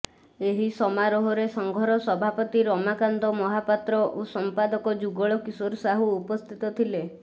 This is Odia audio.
ଏହି ସମାରୋହରେ ସଂଘର ସଭାପତି ରମାକାନ୍ତ ମହାପାତ୍ର ଓ ସଂପାଦକ ଯୁଗଳ କିଶୋର ସାହୁ ଉପସ୍ଥିତ ଥିଲେ